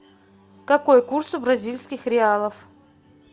какой курс у бразильских реалов